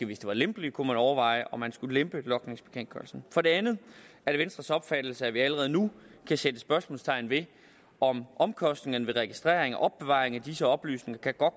hvis det var lempeligt kunne man overveje om man skulle lempe logningsbekendtgørelsen for det andet er det venstres opfattelse at vi allerede nu kan sætte spørgsmålstegn ved om omkostningerne ved registrering og opbevaring af disse oplysninger kan